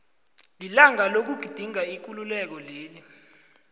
lilanga lokugidinga ikululeko leli